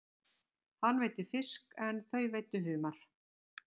Hann veiddi fisk en þau veiddu humar.